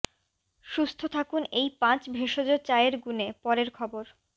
সুস্থ থাকুন এই পাঁচ ভেষজ চায়ের গুণে পরের খবর